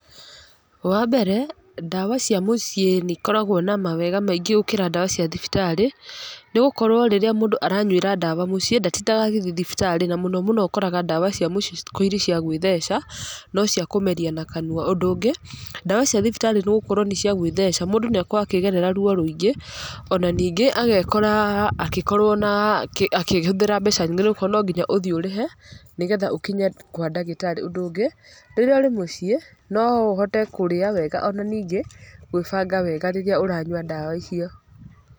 Wa mbere, ndawa cia mũciĩ nĩ ikoragwo na mawega maingĩ gũkĩra ndawa cia thibitarĩ, nĩ gũkorwo rĩrĩa mũndúũaranyuĩra ndawa mũciĩ, ndatindaga agĩthi thibitarĩ, na mũno mũno ndawa cia mũci citikoragwo irĩ cia gwĩtheca, no cia kũmeria na kanua. Ũndũ ũngĩ, ndawa cia thibitarĩ nĩ gũkorwo nĩ cia gwĩtheca, mũndũ nĩ akoragwo akĩgerera ruo rũingĩ, ona ningĩ agekora akĩkorwo na akĩhũthĩra nyingĩ nĩ gũkorwo no nginya ũthiĩ ũrĩhe, nĩgetha ũkinya kwa ndagĩtarĩ. Ũndũ ũngĩ, rĩrĩa ũrĩ mũciĩ, no ũhote kũrĩa wega, ona ningĩ, gwĩbanga wega rĩrĩa ũranyua ndawa icio.